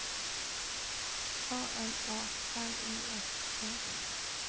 A N A L Y S E